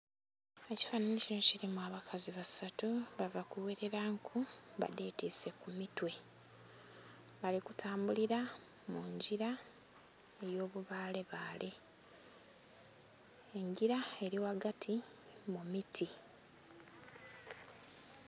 Ekifananhi kinho kilimu abakazi basatu bava ku gherela nku badhetwise ku mitwe bali kutambulila mungila eyo bibale bale engila eri ghagati mu miti.